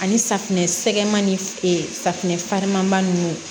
Ani safunɛ sɛgɛman ni e safunɛ farima ninnu